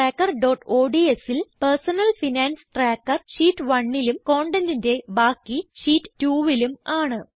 Personal Finance Trackerodsൽ personal finance tracker sheet 1ലും കണ്ടെന്റിന്റെ ബാക്കി ഷീറ്റ് 2ലും ആണ്